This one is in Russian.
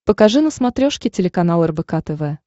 покажи на смотрешке телеканал рбк тв